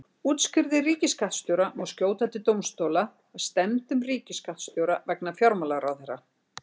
Úrskurði ríkisskattstjóra má skjóta til dómstóla að stefndum ríkisskattstjóra vegna fjármálaráðherra.